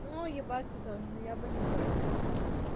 ну ебаться тоже я бы не против была